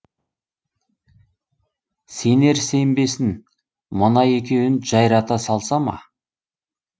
сенер сенбесін мына екеуін жайрата салса ма